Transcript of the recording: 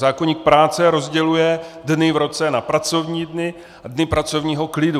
Zákoník práce rozděluje dny v roce na pracovní dny a dny pracovního klidu.